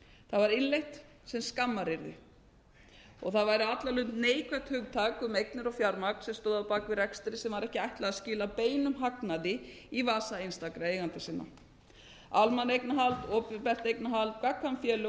það var innleitt sem skammaryrði það var á allan hátt neikvætt hugtak um eignir og fjármagn sem stóð að baki rekstri sem var ekki ætlað að skila beinum hagnaði í vasa einstakra eigenda sinna almanna eignarhald opinber eignarhald gagnkvæm félög og